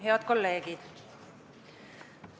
Head kolleegid!